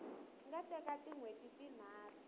nga teka tin hweti tinharhu